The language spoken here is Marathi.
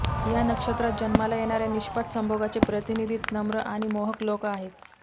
या नक्षत्रात जन्माला येणाऱ्या निष्पाप संभोगाचे प्रतिनिधींत नम्र आणि मोहक लोक आहेत